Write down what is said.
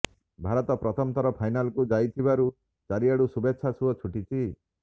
ଭାରତ ପ୍ରଥମ ଥର ଫାଇନାଲକୁ ଯାଇଥିବାରୁ ଚାରିଆଡୁ ଶୁଭେଚ୍ଛାର ସୁଅ ଛୁଟିଛି